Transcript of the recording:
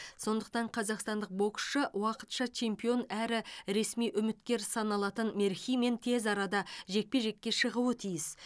сондықтан қазақстандық боксшы уақытша чемпион әрі ресми үміткер саналатын мерхимен тез арада жекпе жекке шығуы тиіс